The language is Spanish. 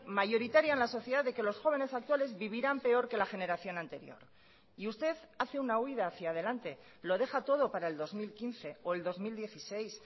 mayoritaria en la sociedad de que los jóvenes actuales vivirán peor que la generación anterior y usted hace una huida hacia delante lo deja todo para el dos mil quince o el dos mil dieciséis